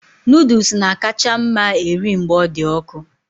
Noodles na-akacha mma eri mgbe ọ dị ọkụ